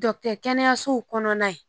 Dɔ kɛ kɛnɛyasow kɔnɔna ye